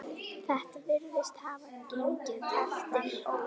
Þetta virðist hafa gengið eftir.